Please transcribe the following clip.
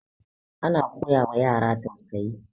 ana koyawa yara tausayi